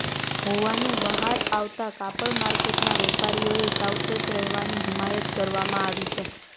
હોવાનું બહાર આવતાં કાપડમાર્કેટના વેપારીઓને સાવચેત રહેવાની હિમાયત કરવામાં આવી